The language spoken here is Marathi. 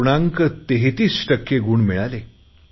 33 टक्के गुण मिळाले